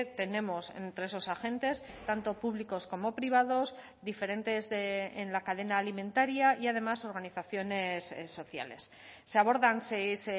tenemos entre esos agentes tanto públicos como privados diferentes en la cadena alimentaria y además organizaciones sociales se abordan seis